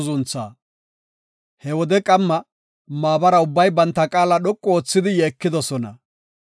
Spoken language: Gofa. He wode qamma maabara ubbay banta qaala dhoqu oothidi yeekidosona.